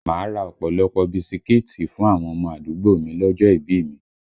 Máa ra ọ̀pọ̀lọpọ̀ ọ bisikíìtì fún àwọn ọmọ àdúgbò mi lọ́jọ́ ìbí i mi